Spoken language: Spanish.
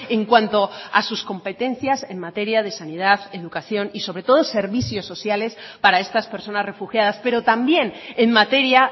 en cuanto a sus competencias en materia de sanidad educación y sobre todo servicios sociales para estas personas refugiadas pero también en materia